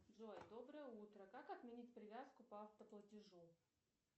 джой доброе утро как отменить привязку по автоплатежу